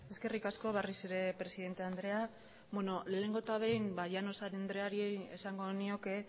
eskerrik asko berriz ere presidente andrea beno lehenengo eta behin llanos andreari esango nioke